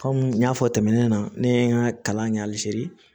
Kɔmi n y'a fɔ tɛmɛnen na ne ye n ka kalan kɛ hali sini